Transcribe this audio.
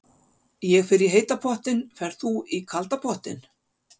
Ég fer í heita pottinn. Ferð þú í kalda pottinn?